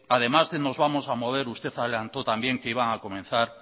además de nos vamos a mover usted adelantó también que iban a comenzar